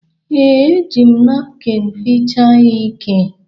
Ee, e ji m napkịn fichaa ya ike.